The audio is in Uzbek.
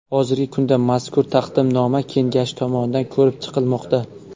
Hozirgi kunda mazkur taqdimnoma Kengashi tomonidan ko‘rib chiqilmoqda.